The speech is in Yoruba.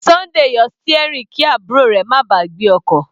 Sunday yọ steering kí àbúrò rẹ̀ má ba à gbé ọkọ̀.